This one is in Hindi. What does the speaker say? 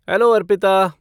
हैलो, अर्पिता।